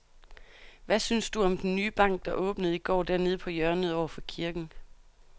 Hvad synes du om den nye bank, der åbnede i går dernede på hjørnet over for kirken?